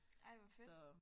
Ej hvor fedt